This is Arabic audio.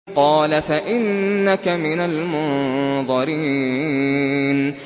قَالَ فَإِنَّكَ مِنَ الْمُنظَرِينَ